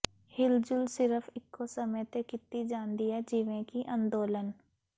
ਹਿਲਜੁਲ ਸਿਰਫ ਇੱਕੋ ਸਮੇਂ ਤੇ ਕੀਤੀ ਜਾਂਦੀ ਹੈ ਜਿਵੇਂ ਕਿ ਅੰਦੋਲਨ